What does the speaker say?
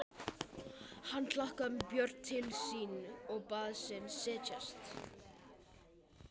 Hann kallaði Björn til sín og bað hann setjast.